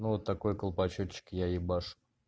вот такой колпачочек я ебашу